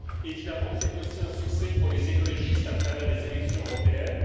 Évidemment, c'est aussi un succès pour les écologistes, à travers les élections européennes.